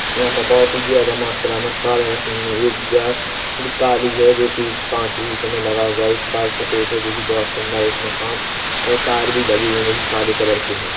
यहां पर बहोत ही ज्यादा मात्रा मे कार रखी हुई है एक गा- काली है जोकि कांच भी उसमे लगा हुआ है एक कार सफेद है जोकि बहोत सुंदर है उसमे कांच और तार भी लगे हुए है जोकि काले कलर के है।